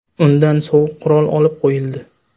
Undan sovuq qurol olib qo‘yildi.